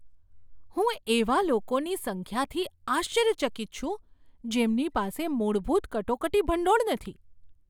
હું એવા લોકોની સંખ્યાથી આશ્ચર્યચકિત છું જેમની પાસે મૂળભૂત કટોકટી ભંડોળ નથી.